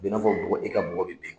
A be na fɔ bɔgɔ, i ka bɔgɔ be ben.